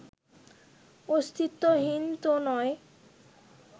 অস্তিত্বহীন তো নয়